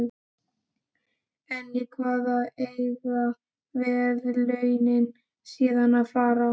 En í hvað eiga verðlaunin síðan að fara?